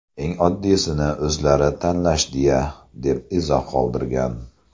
Eng oddiysini o‘zlari tanlashdi-ya”, deb izoh qoldirgan .